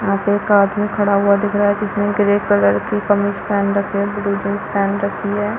यहाँ पे एक आदमी खड़ा हुआ दिख रहा है जिसमें ग्रे कलर की कमीज पहन रखे है ब्लू जींस पहन रखी हैं।